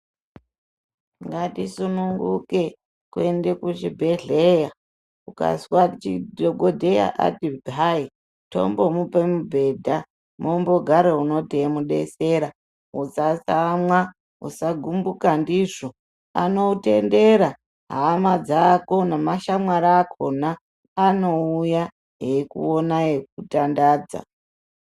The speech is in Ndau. Ngatisununguke kuenda kuchibhedhleya. Ukazwa kuti dhokodheya ati tombomupa mubhedha mwombogara uno teimudetsera. Usatsamwa. Usagumbuka ndizvo. Anotendera hama dzako nemashamwari akhona anouya eikuona eikutandadza.